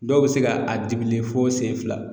Dɔw bɛ se ka a digilen fo sen fila.